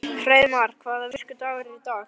Hreiðmar, hvaða vikudagur er í dag?